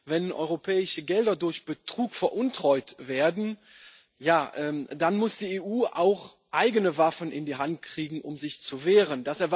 Wenn europäische Gelder durch Betrug veruntreut werden, dann muss die EU auch eigene Waffen in die Hand kriegen, um sich zu wehren.